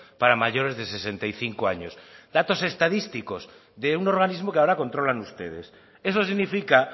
para mayores de sesenta y cinco años datos estadísticos de un organismo que ahora controlan ustedes eso significa